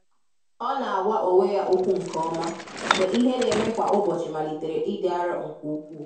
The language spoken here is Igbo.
Ọ́ nà-àgwá ónwé yá ókwú nké ọ́mà mgbè ìhè nà-émé kwá ụ́bọ̀chị̀ màlị́tèrè ị́dị́ áró nké úkwúù.